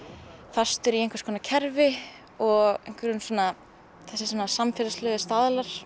fastur í einhvers konar kerfi og einhverjum svona þessir svona samfélagslegu staðlar